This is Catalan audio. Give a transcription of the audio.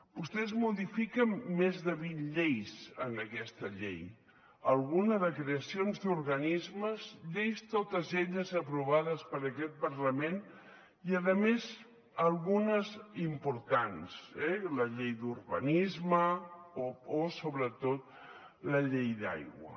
vostès modifiquen més de vint lleis en aquesta llei alguna de creacions d’organismes lleis totes elles aprovades per aquest parlament i a més algunes importants eh la llei d’urbanisme o sobretot la llei d’aigua